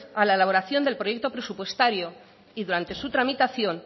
a la elaboración del proyecto presupuestario y durante su tramitación